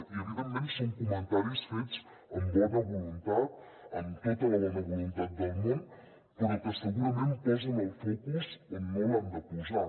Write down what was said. i evidentment són comentaris fets amb bona voluntat amb tota la bona voluntat del món però que segurament posen el focus on no l’han de posar